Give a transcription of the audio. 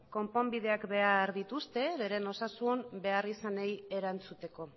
konponbideak behar dituzte bere osasun beharrizanei erantzuteko